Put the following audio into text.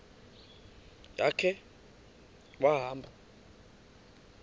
ya khe wahamba